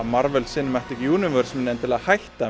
Universe muni endilega hætta